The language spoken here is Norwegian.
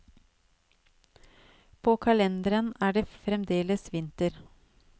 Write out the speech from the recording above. På kalenderen er det fremdeles vinter.